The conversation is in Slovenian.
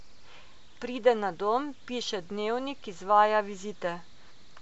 Pride na dom, piše dnevnik, izvaja vizite.